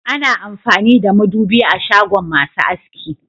Ana amfani da madubi a shagon masu aski